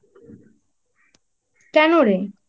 কেন রে?